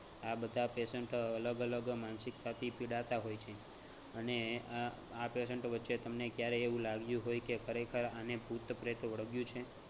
આ બધા patient અલગ અલગ માનસિકતાથી પીડાતા હોય છે અને અમ આ patient ઓ વચ્ચે તમને ક્યારેય એવુ લાગ્યું હોય કે ખરેખર આને ભૂત પ્રેત વળગ્યું છે